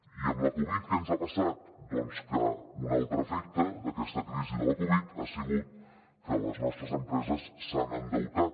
i amb la covid què ens ha passat doncs que un altre efecte d’aquesta crisi de la covid ha sigut que les nostres empreses s’han endeutat